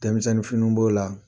Denmisɛnnin fini b'o la.